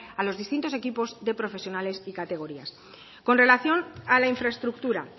a los distintos equipos de profesionales y categorías con relación a la infraestructura